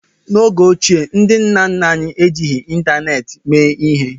N'oge ochie, ndị nna nna anyị ejighị ịntanetị mee ihe